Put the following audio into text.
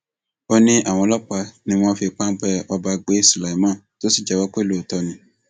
ó ní àwọn ọlọpàá ni wọn fi páńpẹ ọba gbé sulaiman tó sì jẹwọ pé lóòótọ ni